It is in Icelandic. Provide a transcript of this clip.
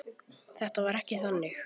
Þetta var ekki þannig.